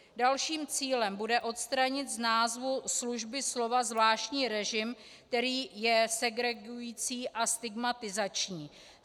Dalším cílem bude odstranit z názvu služby slova zvláštní režim, který je segregující a stigmatizační.